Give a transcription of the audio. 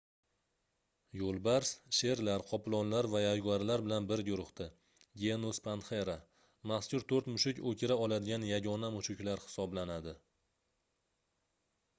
yo'lbars sherlar qoplonlar va yaguarlar bilan bir guruhda genus panthera. mazkur to'rt mushuk o'kira oladigan yagona mushuklar hisoblanadi